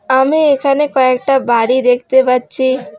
আমি এখানে কয়েকটা বাড়ি দেখতে পাচ্ছি।